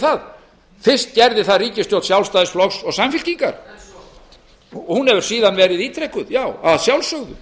það fyrst gerði það ríkisstjórn sjálfstæðisflokks og samfylkingar hún hefur síðan verið ítrekuð já að sjálfsögðu